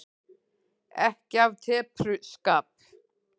Ekki af tepruskap.